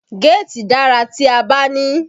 Géètì dára tí a bá ní i